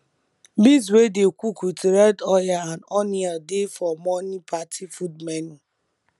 beans wey dey cook with red oil and onion dey for morning party food menu